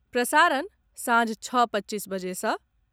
प्रसारण साँझ छओ पच्चसी बजे सँ